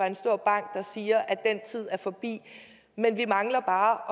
en stor bank der siger at den tid er forbi men vi mangler bare